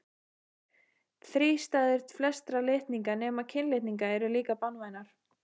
Þrístæður flestra litninga nema kynlitninga eru líka banvænar.